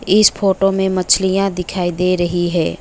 इस फोटो में मछलियां दिखाई दे रही हैं।